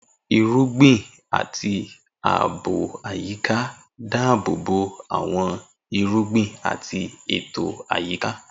Irúgbìn àti ààbò àyíká dáàbò bo àwọn irúgbìn àti ètò àyíká.